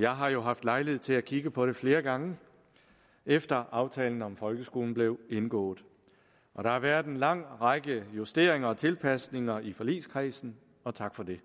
jeg har jo haft lejlighed til at kigge på det flere gange efter at aftalen om folkeskolen blev indgået der har været en lang række justeringer og tilpasninger i forligskredsen og tak for det